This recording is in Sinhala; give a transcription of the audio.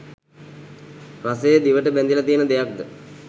රසය දිවට බැඳිල තියෙන දෙයක්ද?